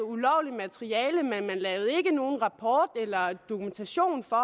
ulovligt materiale men man lavede ikke nogen rapport eller dokumentation for